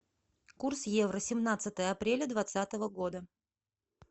курс евро семнадцатое апреля двадцатого года